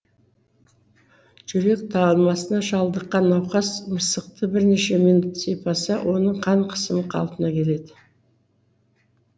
жүрек талмасына шалдыққан науқас мысықты бірнеше минут сипаса оның қан қысымы қалпына келеді